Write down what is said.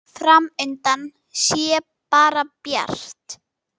Fram undan sé bara bjart.